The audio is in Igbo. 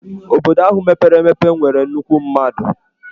Obodo ahụ mepere emepe nwere nnukwu mmadụ.